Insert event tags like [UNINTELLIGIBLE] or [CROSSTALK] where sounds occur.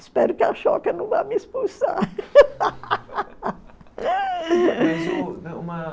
Espero que a [UNINTELLIGIBLE] não vá me expulsar. [LAUGHS]